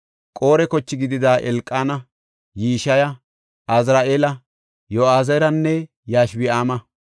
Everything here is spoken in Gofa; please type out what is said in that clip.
Qore koche gidida Elqaana, Yishiya, Azari7eela, Yoo7ezeranne Yashobi7aama,